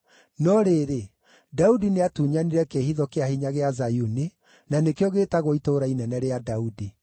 No rĩrĩ, Daudi nĩatunyanire kĩĩhitho kĩa hinya gĩa Zayuni, na nĩkĩo gĩĩtagwo itũũra inene rĩa Daudi.